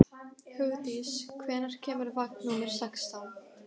Hugdís, hvenær kemur vagn númer sextán?